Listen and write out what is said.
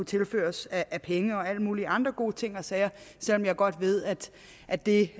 tilført af penge og alle mulige andre gode ting og sager selv om jeg godt ved at at det